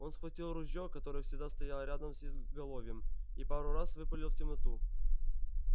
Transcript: он схватил ружьё которое всегда стояло рядом с изголовьем и пару раз выпалил в темноту